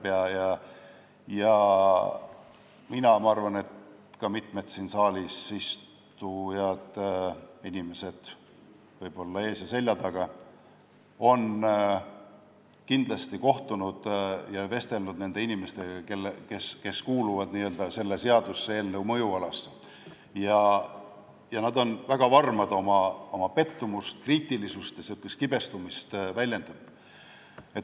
Mina olen ja ma arvan, et ka mitmed siin saalis istuvad inimesed, võib-olla siin ees ja selja taga istuvad, on kindlasti kohtunud ja vestelnud nende inimestega, kes kuuluvad n-ö selle seaduseelnõu mõjualasse ja on väga varmad oma pettumust, kriitilisust ja kibestumust väljendama.